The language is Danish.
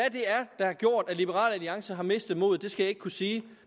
er der har gjort at liberal alliance har mistet modet skal jeg ikke kunne sige